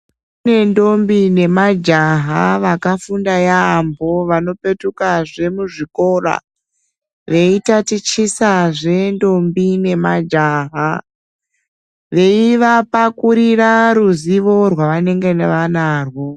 Kunendombi nemajaha vakafunda yambo vanopetuka zve muzvikora veitatichisa zvendombi nemajaha vei vapakurira ruzivo rwavanenge vanarwo